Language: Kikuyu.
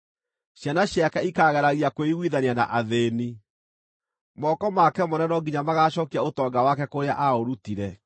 Ciana ciake ikaageragia kwĩiguithania na athĩĩni; moko make mwene no nginya magaacookia ũtonga wake kũrĩa aaũrutire.